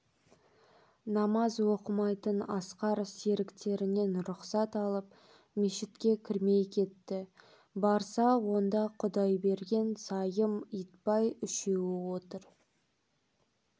намаз оқымайтын асқар серіктерінен рұқсат алып мешітке кірмей кетті барса онда құдайберген сайым итбай үшеуі отыр